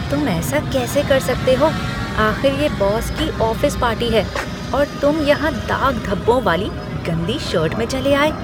तुम ऐसा कैसे कर सकते हो? आख़िर ये बॉस की ऑफ़िस पार्टी है, और तुम यहाँ दाग धब्बों वाली गंदी शर्ट में चले आए।